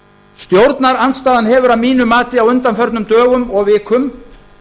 stjórnarandstaðan hefur að mínu mati á undanförnum dögum og vikum